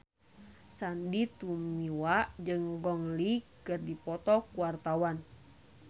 Sandy Tumiwa jeung Gong Li keur dipoto ku wartawan